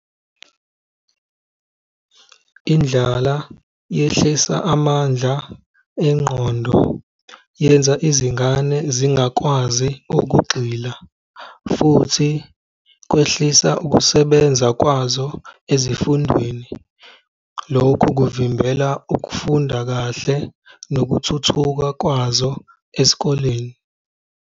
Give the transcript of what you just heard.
Indlala yehlisa amandla engqondo yenza izingane zingakwazi ukugxila futhi kwehlisa ukusebenza kwazo ezifundweni. Lokhu kuvimbela ukufunda kahle nokuthuthuka kwazo esikoleni.